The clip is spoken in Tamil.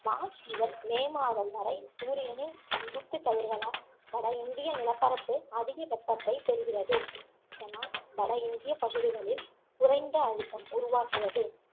மார்ச் முதல் மே மாதம் வரை சூரியனின் செங்குத்து கதிர்களால் வட இந்திய நிலப்பரப்பு அதிக வெப்பத்தைப் பெறுகிறது இதனால் வட இந்திய பகுதிகளில் குறைந்த அழுத்தம் உருவாகுகிறது